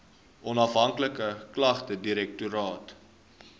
onafhanklike klagtedirektoraat